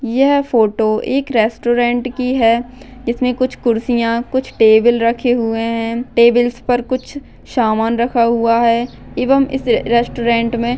यह फोटो एक रेस्टोरंट की है इसमे कुछ कुर्सिया कुछ टेबल रखे हुये है टेबल्स पर कुछ शामन रखा हुआ है एवंम इस रेस्टोरंट मे --